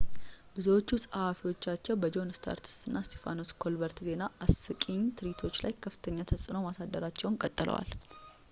ብዙዎቹ ጸሐፊዎቻቸው በጆን እስታርት እና እስጢፋኖስ ኮልበርት ዜና አስቂኝ ትርኢቶች ላይ ከፍተኛ ተጽዕኖ ማሳደራቸውን ቀጥለዋል